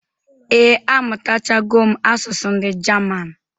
Ee, amụtachago m asụsụ ndị Jaman